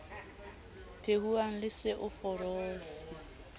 phehuwang le se o ferose